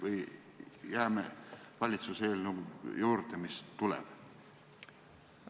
Või jääme valitsuse eelnõu juurde, mis tuleb?